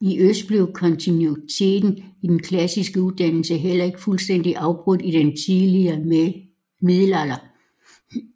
I øst blev kontinuiteten i den klassiske uddannelse heller ikke fuldstændig afbrudt i den tidlige middelalder